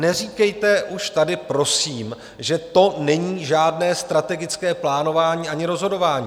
Neříkejte už tady, prosím, že to není žádné strategické plánování ani rozhodování.